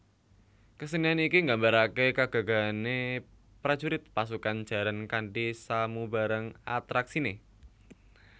Kesenian iki nggambaraké kegagahane prajurit pasukan jaran kanthi samubarang atraksiné